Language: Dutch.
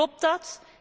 Klopt dat?